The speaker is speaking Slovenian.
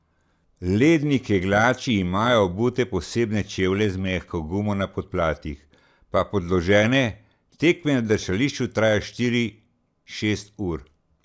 Ledni kegljači imajo obute posebne čevlje z mehko gumo na podplatih, pa podložene, tekme na drsališču trajajo štiri, šest ur.